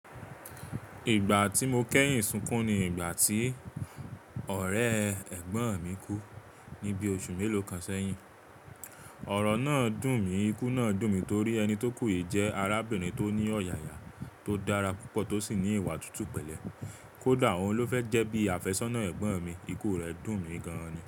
Ìgbà tí mo kẹ́yìn sunkún ni ìgbà tí ọ̀rẹ́ ẹ̀gbọ́n mi kú ní bí oṣù mélòó kan sẹ́yìn. Ọ̀rọ̀ náà dùn mí, ikú náà dùn mí torí ẹni tó kú yìí jẹ́ arábìnrin tó ní ọ̀yàyà tó dára púpọ̀ tó sì ní ìwà tútù pẹ̀lẹ́. Kódà òun ló fẹ́ jẹ́ bíi àfẹ́sọ́nà ẹ̀gbọ́n mi, ikú rẹ̀ dùn mí gan ni.